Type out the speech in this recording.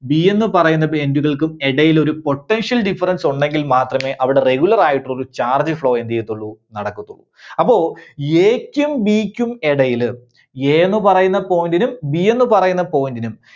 B എന്ന് പറയുന്നത് end കൾക്കും ഇടയിൽ ഒരു potential difference ഉണ്ടെങ്കിൽ മാത്രമേ അവിടെ regular ആയിട്ട് ഒരു charge flow എന്ത് ചെയ്യത്തുള്ളൂ നടക്കത്തുള്ളൂ. അപ്പോ A ക്കും B ക്കും ഇടയില് A ന്നു പറയുന്ന point നും B എന്ന് പറയുന്ന point നും